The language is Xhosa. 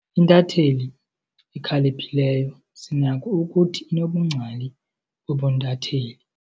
Intatheli ekhaliphileyo sinako ukuthi inobungcali bobuntatheli.